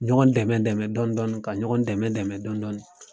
Ɲɔgɔn dɛmɛ dɛmɛ dɔɔni dɔɔni, ka ɲɔgɔn dɛmɛ dɛmɛ dɔɔni dɔɔni.